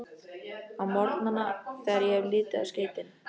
Á morgnana, þegar ég hef litið á skeytin